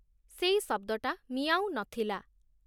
ସେଇ ଶବ୍ଦଟା 'ମିଆଁଉ' ନଥିଲା ।